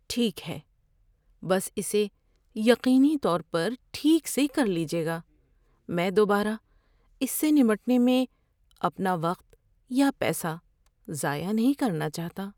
ٹھیک ہے، بس اسے یقینی طور پر ٹھیک سے کر لیجیے گا۔ میں دوبارہ اس سے نمٹنے میں اپنا وقت یا پیسہ ضائع نہیں کرنا چاہتا۔